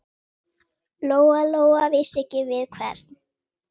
Lóa-Lóa vissi ekki við hvern.